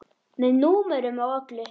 Með númerum og öllu.